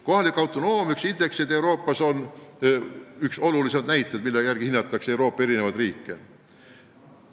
Kohaliku autonoomia indeks on Euroopas üks olulisimaid näitajaid, mille järgi riike hinnatakse.